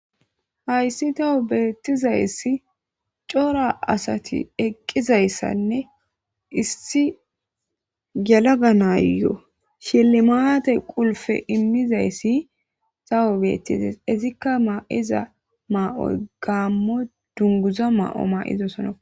Hayssi toho beettizayssi cora asati eqqizayssanne issi galaganayo shelli maate qulfe immizayssi zawo beettizays ezikka maa7iza ma7oy gaammo dunguza ma7o ma7izosona